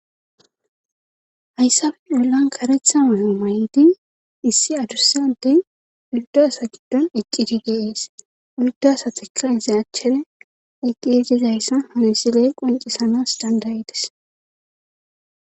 hayssabe ollan karetha mayo may7di issi adursyadey uldaasa giddon eqciti geees uldaasateka ise achchene eqqejizayssa honosiley qoncisanas dandayides